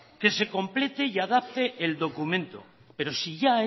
que se complete y adapte el documento pero si ya